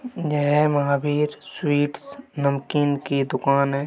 यह महावीर स्वीट्स नमकीन की दुकान है।